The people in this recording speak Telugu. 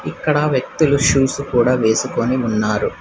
అక్కడ వ్యక్తులు షూస్ కూడా వేసుకొని ఉన్నారు.